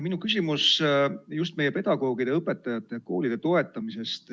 Minu küsimus on meie pedagoogide ja koolide toetamise kohta.